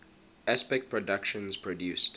aspect productions produced